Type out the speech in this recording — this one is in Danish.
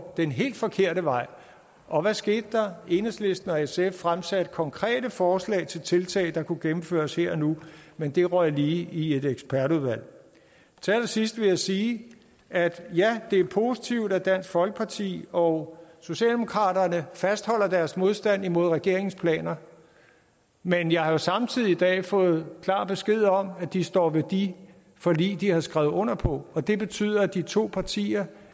den helt forkerte vej og hvad skete der enhedslisten og sf fremsatte konkrete forslag til tiltag der kunne gennemføres her og nu men det røg lige i et ekspertudvalg til allersidst vil jeg sige at ja det er positivt at dansk folkeparti og socialdemokratiet fastholder deres modstand imod regeringens planer men jeg har samtidig i dag fået klar besked om at de står ved de forlig de har skrevet under på og det betyder at de to partier